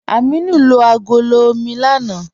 Ámínù lo agọ̀lọ̀ omi lánà.